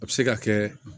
A bɛ se ka kɛ